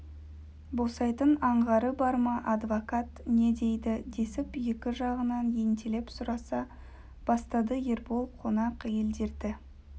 босайтын аңғары бар ма адвокат не дейді десіп екі жағынан ентелеп сұраса бастады ербол қонақ әйелдерді